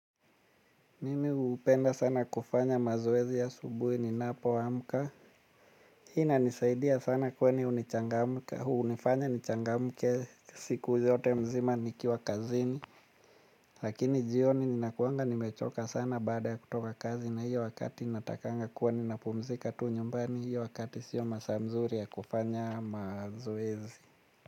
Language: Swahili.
Mimi upenda sana kufanya mazoezi ya asubuhi ninapo amka. Hii inanisaidia sana kwani unifanya nichangamke siku yote mzima nikiwa kazini. Lakini jioni ninakuanga nimechoka sana baada ya kutoka kazi na hiyo wakati natakanga kuwa ninapumzika tu nyumbani. Hiyo wakati siyo masaa mzuri ya kufanya mazoezi.